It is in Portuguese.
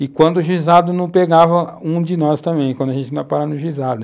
E quando o juizado não pegava, um de nós também, quando a gente não ia parar no juizado.